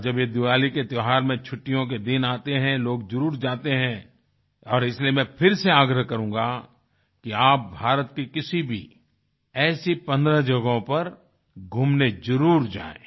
और जब ये दिवाली के त्योहार में छुट्टियों के दिन आते हैं लोग जरुर जाते हैं और इसलिए मैं फिर से आग्रह करूँगा कि आप भारत की किसी भी ऐसी 15 जगहों पर घूमने जरुर जाएँ